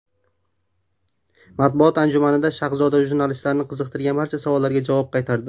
Matbuot anjumanida Shahzoda jurnalistlarni qiziqtirgan barcha savollarga javob qaytardi.